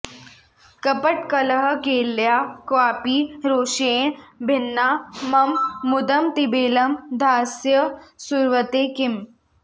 कपटकलहकेल्या क्वापि रोषेण भिन्ना मम मुदमतिबेलं धास्यसे सुव्रते किम्